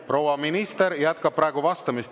Proua minister jätkab praegu vastamist.